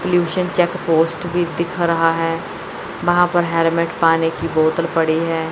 Pollution check post भी दिख रहा है वहां पर हेरमेट पानी की बोतल पड़ी है।